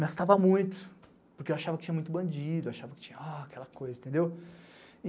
gastava muito, porque eu achava que tinha muito bandido, achava que tinha aquela coisa, entendeu?